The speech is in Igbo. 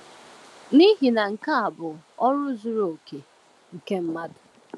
“N’ihi na nke a bụ ọrụ zuru oke nke mmadụ.”